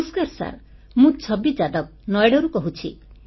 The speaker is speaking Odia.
ନମସ୍କାର ସାର୍ ମୁଁ ଛବି ଯାଦବ ନୋଇଡାରୁ କହୁଛି